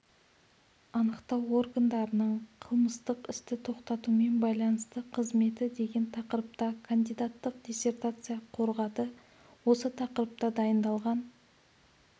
анықтау органдарының қылмыстық істі тоқтатумен байланысты қызметі деген тақырыпта кандидаттық диссертация қорғады осы тақырыпта дайындалған